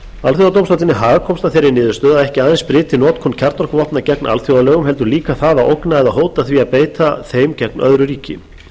alþjóðadómstóllinn í haag komst að þeirri niðurstöðu að ekki aðeins breyti notkun kjarnorkuvopna gegn alþjóðalögum heldur líka það að ógna eða hóta því að beita þeim gegn öðru ríki